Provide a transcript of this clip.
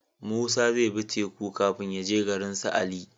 Musa zai bi teku kafin yaje garinsu ali